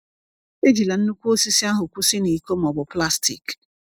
Ejila nnukwu osisi ahụ kwụsị na iko ma ọ bụ plastik.